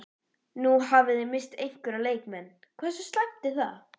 Nú hafi þið misst einhverja leikmenn, hversu slæmt er það?